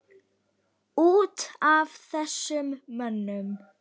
Út af þessum mönnum?